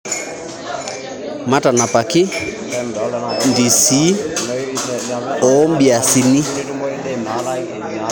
Matanapaki ndisii oobiasini